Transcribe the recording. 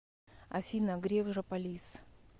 афина греф жополиз